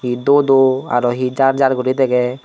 duoduo aro he jar jar guri degey.